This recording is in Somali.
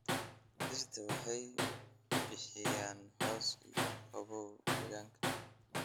Dhirta waxay bixiyaan hoos iyo qabow deegaanka.